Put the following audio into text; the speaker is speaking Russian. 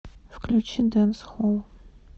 включи дэнсхолл